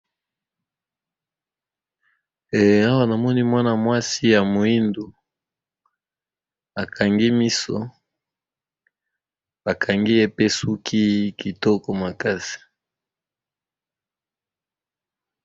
Eh awa na moni mwana mwasi ya moindu. akangi miso ba kangi ye pe suki kitoko makasi.